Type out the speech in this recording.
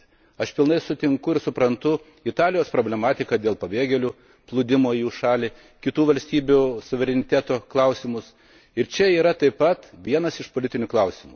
Aš visiškai sutinku ir suprantu Italijos problematiką dėl pabėgėlių plūdimo į šią šalį, kitų valstybių suvereniteto klausimus, ir čia yra taip pat vienas iš politinių klausimų.